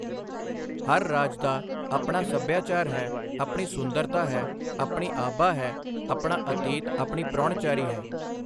ਹਰ ਰਾਜ ਦਾ ਆਪਣਾ ਸੱਭਿਆਚਾਰ ਹੈ, ਆਪਣੀ ਸੁੰਦਰਤਾ ਹੈ, ਆਪਣੀ ਆਭਾ ਹੈ, ਆਪਣਾ ਆਤਿਥਯ ਆਪਣੀ ਪ੍ਰਾਹੁਣਚਾਰੀ ਹੈ।